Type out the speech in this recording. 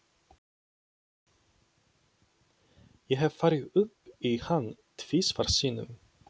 Ég hef farið upp í hann tvisvar sinnum.